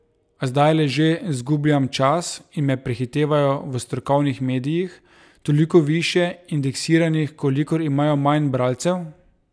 A zdajle že zgubljam čas in me prehitevajo v strokovnih medijih, toliko višje indeksiranih, kolikor imajo manj bralcev?